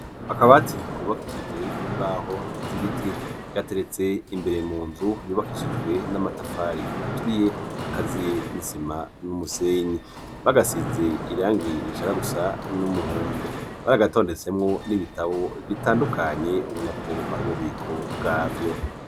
Akabati kubakishije imbaho z'ibiti gateretse imbere mu nzu yubakishijwe n'amatafari aturiye akaziye n'isima n'umusenyi, bagasize irangi rishaka gusa n'umuhondo, bari bagatondetsemwo n'ibitabo bitandukanye ubona ko ari ububiko bwavyo.